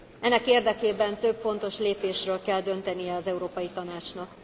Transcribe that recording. Ennek érdekében több fontos lépésről kell döntenie az Európai Tanácsnak.